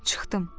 Çıxdım.